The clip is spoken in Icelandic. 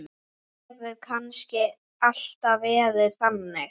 Hefur kannski alltaf verið þannig?